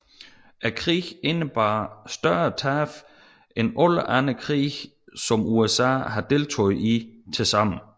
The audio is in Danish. Krigen indebar større tab end alle andre krige som USA har deltaget i tilsammen